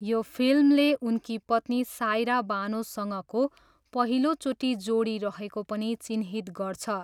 यो फिल्मले उनकी पत्नी सायरा बानोसँगको पहिलोचोटि जोडी रहेको पनि चिह्नित गर्छ।